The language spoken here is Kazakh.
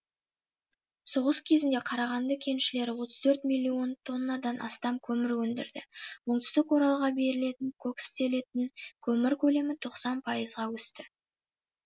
соғыс кезінде қарағанды кеншілері отыз төрт миллион тоннадан астам көмір өндірді оңтүстік оралға берілетін кокстелетін көмір көлемі тоқсан пайызға өсті